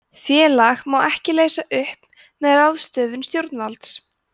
félag má ekki leysa upp með ráðstöfun stjórnvalds